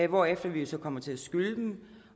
hvorefter vi jo så kommer til at skylde dem